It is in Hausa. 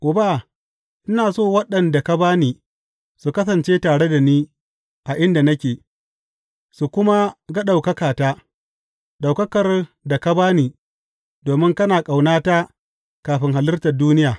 Uba, ina so waɗanda ka ba ni su kasance tare da ni a inda nake, su kuma ga ɗaukakata, ɗaukakar da ka ba ni domin kana ƙaunata kafin halittar duniya.